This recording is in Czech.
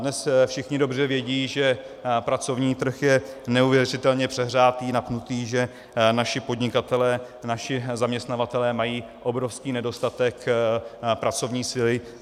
Dnes všichni dobře vědí, že pracovní trh je neuvěřitelně přehřátý, napnutý, že naši podnikatelé, naši zaměstnavatelé mají obrovský nedostatek pracovní síly.